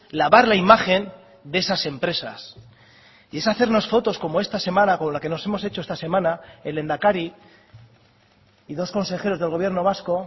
lavar la imagen de esas empresas y es hacernos fotos como esta semana como la que nos hemos hecho esta semana el lehendakari y dos consejeros del gobierno vasco